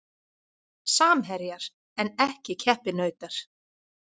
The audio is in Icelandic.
Samherjar en ekki keppinautar